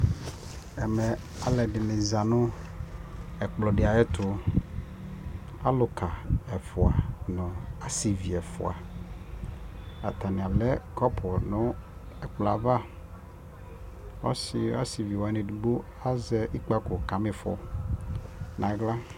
ɛmɛ alo ɛdini za no ɛkplɔ di ayo ɛto aluka ɛfua no asivi ɛfua atani alɛ kɔpo no ɛkplɔɛ ava asivi wani edigbo azɛ ɛzɔkpako ka ma ifɔ no ala